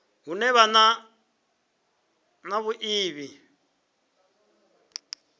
hune ha vha na vhuiivhi